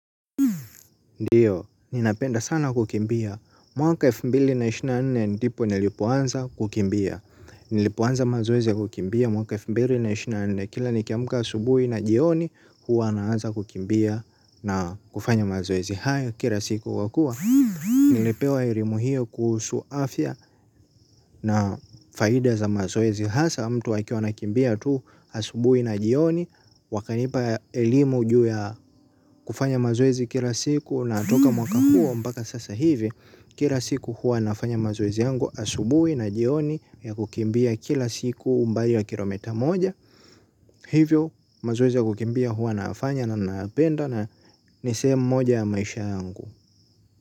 Ndiyo, ninapenda sana kukimbia. Mwaka elfu mbili na ishirini na nne ndipo nilipoanza kukimbia. Nilipoanza mazoezi ya kukimbia mwaka elfu mbili na ishirini na nne. Kila nikiamka asubui na jioni huwa naanza kukimbia na kufanya mazoezi. Kira siku wakua nilipewa erimu hio kuhusu afya na faida za mazoezi. Hasa mtu akiwa anakimbia tu asubui na jioni. Wakanipa elimu ju ya kufanya mazoezi kila siku na toka mwaka huo mpaka sasa hivi. Kira siku huwa nafanya mazoezi yangu asubui na jioni ya kukimbia kila siku umbali wa kilometa moja. Hivyo mazoezi ya kukimbia hua nayafanya na nayapenda na ni sehemu moja ya maisha yangu.